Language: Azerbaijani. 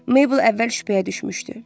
Meybl əvvəl şübhəyə düşmüşdü.